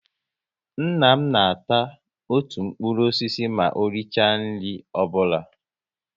Nna m na ata otu mkpụrụ osisi ma o richa nri ọbụla